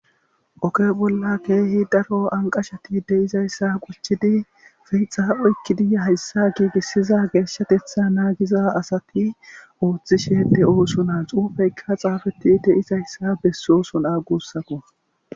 Oke bolla keehi daro anqashati de izayssa quchidi feyixa oykkidiya hayssa giigissiza geeshshatetha naagiza asati ooththi shede ooso na cuufeykka xaafeti de izayssa bessooson a gussako.